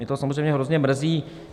Mě to samozřejmě hrozně mrzí.